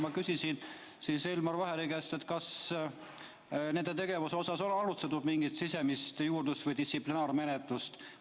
Ma küsisin Elmar Vaheri käest, kas nende tegevuse tõttu on alustatud mingit sisemist juurdlust või distsiplinaarmenetlust.